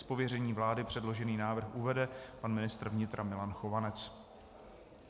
Z pověření vlády předložený návrh uvede pan ministr vnitra Milan Chovanec.